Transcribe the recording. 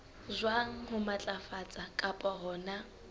jwang ho matlafatsa kapa hona